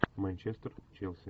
манчестер челси